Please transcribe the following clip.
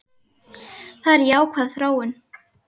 Það er jákvæð þróun.